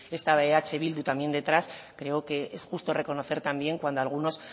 estaba eh bildu también detrás creo que es justo reconocer también cuando algunos